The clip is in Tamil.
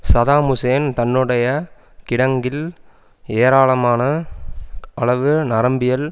சதாம் ஹூசேன் தன்னுடைய கிடங்கில் ஏராளமான அளவு நரம்பியல்